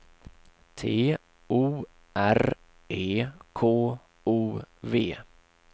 T O R E K O V